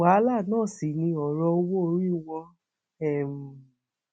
wàhálà náà sì ni ọrọ owóorí wọn um